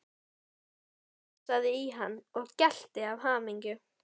Hún glefsaði í hann og gelti af hamingju.